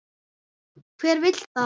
Hver vill það?